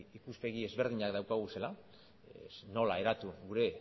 ikuspegi ezberdinak daukaguzela nola eratu gure